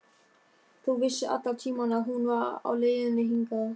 Þú vissir allan tímann að hún var á leiðinni hingað.